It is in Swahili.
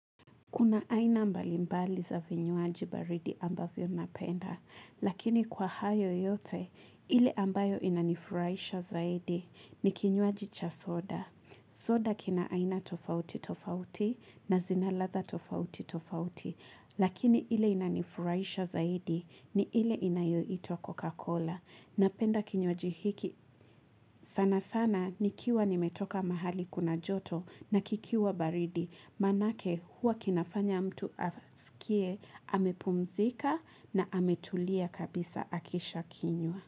Kuna aina mbali mbali za vinywaji baridi ambavyo napenda, lakini kwa hayo yote, ile ambayo inanifuraisha zaidi ni kinywaji cha soda. Soda kina aina tofauti tofauti na zinaladha tofauti tofauti, lakini ile inanifuraisha zaidi ni ile inayoitwa cocacola. Napenda kinywaji hiki sana sana nikiwa nimetoka mahali kuna joto na kikiwa baridi manake hua kinafanya mtu asikie amepumzika na ametulia kabisa akisha kinywa.